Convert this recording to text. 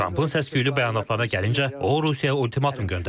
Trampın səsküylü bəyanatlarına gəldikdə, o Rusiyaya ultimatum göndərib.